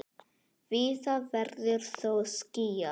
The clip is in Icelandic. Víða verður þó skýjað.